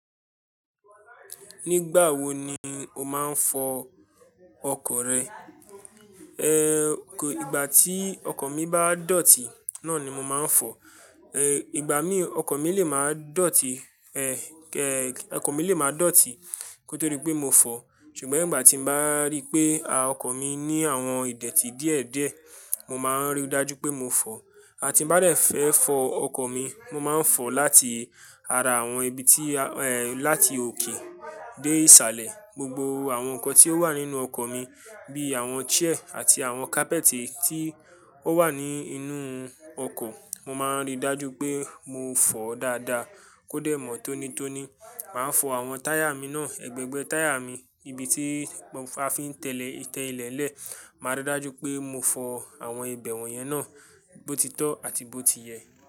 Nígbà wo ni o máa ń fọ ọkọ̀ rẹ? Ehn, ìgbà tí ọkọ̀ mi bá dọ̀tí náà ni mo máa ń fọ. Ehn, ìgbà mí, ọkọ̀ mi lè máa dọ̀tí, ehn, ehn, ọkọ̀ mi lè máa dọ̀tí koto di pé mo fọ̀. Ṣùgbọ́n ìgbà tí mo bá ríi pé, a, ọkọ̀ mi ní àwọn ìdẹ̀tì díẹ̀díẹ̀, mo máa ń rí i dájú pé mo fọ̀. Àti nbá dẹ̀ fẹ́ fọ ọkọ̀ mi, mo máa ń fọ láti ara àwọn ibi tí, ehn, láti òkè dé ìsàlẹ̀. Gbogbo àwọn nǹkan tí ó wà nínú ọkọ̀ mi bíi àwọn chair àti àwọn kápẹ́tì tí ó wà ní inú ọkọ̀, mo máa ń rí dájú pé mo fọ̀ dáadáa kó dẹ̀ mọ̀ tónítóní. Màá fọ àwọn táyà mi náà, ẹgbẹgbẹ́ táyà mi, ibi tí a fi ń tẹ ìlẹ́lẹ̀, màá rí dájú pé mo fọ àwọn ibẹ̀wọ̀n yẹn náà bó ti tọ́ àti bó ti yẹ.